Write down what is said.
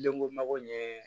Denko mako ɲɛ